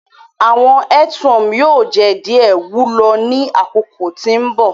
Awọn earthworm yoo jẹ diẹ wulo ni akoko ti mbọ.